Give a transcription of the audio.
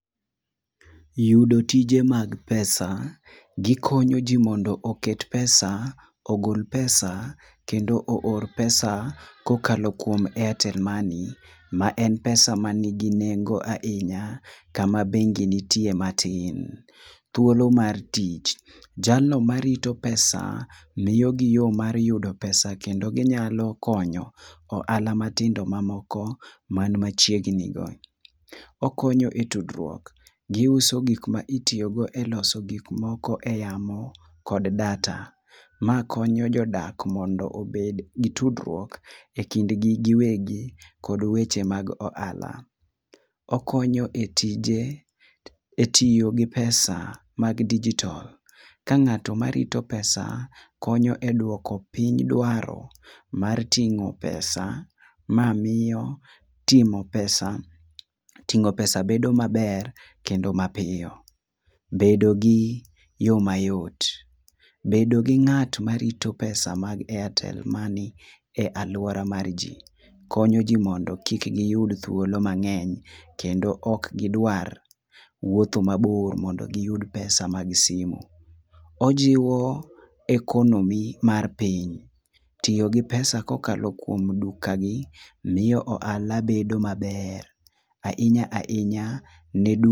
Yudo tije mag pesa, gi konyo ji mondo oket pesa, ogol pesa kendo oor pesa ko okadho kuom airtel money ma en pesa ma ni gi nengo ahinya kama bengi nitie matin. Thuolo mar tich, jalno marito pesa tiyo gi yo mar yudo pesa gi kendo gi nyalo konyo ohala matindo ma moko ma ni machiegni ggo. Okonyo e tudruok gi uso gik ma itiyo go e loso gik moko e yamo kod data. Ma konyo jodak mondo obed gi tudruok e kind gi gi wegi kod weche mag ohala. Okonyo e tije, e tiyo gi pesa mag digital ka ng'ato ma rito pesa konyo we dwoko piny dwaro mar tringo pesa ma miyo Tingo pesa tino pesa bedo ma ber kendo ma piyo. Bedo gi yo mayot, bedo gi ng'ato ma rito pesa mar airtel money e aluora mar ji konyo ji mondo kik gi yud thuolo mang'eny kendo ok gi dwar wuotho ma bor mondo gi yud pesa mar simo. Ojiwo economy mar piny tiyo gi pesa ko okalo kuom duka gi miyo ohala bedo ma ber ahinya ahinya ne duka.